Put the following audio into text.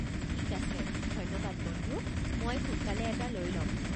ঠিক আছে, ধন্যবাদ বন্ধু, মই সোনকালে এটা লৈ ল'ম।